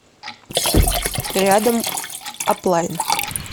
рядом аплайн